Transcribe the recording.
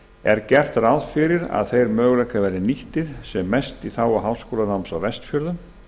er gert ráð fyrir að þeir möguleikar verði nýttir sem mest í þágu háskólanáms á vestfjörðum